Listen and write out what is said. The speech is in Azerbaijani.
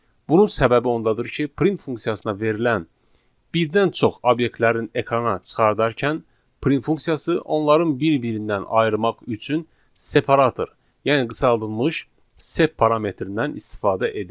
Bunun səbəbi ondadır ki, print funksiyasına verilən birdən çox obyektlərin ekrana çıxardarkən print funksiyası onların bir-birindən ayırmaq üçün separator, yəni qısaldılmış sep parametrindən istifadə edir.